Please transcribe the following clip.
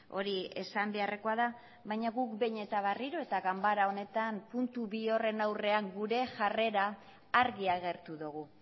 hori esan beharrekoa da baina guk behin eta berriro eta ganbara honetan puntu bi horren aurrean gure jarrera argi agertu dugu